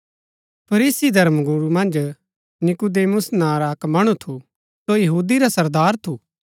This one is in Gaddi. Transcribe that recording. फरीसी धर्मगुरू मन्ज नीकुदेमुस नां रा अक्क मणु थू सो यहूदी रा सरदार थू